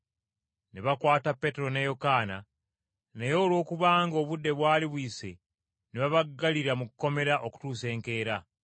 Ne bakwata Peetero ne Yokaana, naye olwokubanga obudde bwali buyise ne babaggalira mu kkomera okutuusa enkeera.